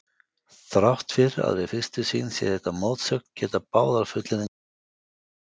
Þrátt fyrir að við fyrstu sýn sé þetta mótsögn geta báðar fullyrðingarnar verið réttar.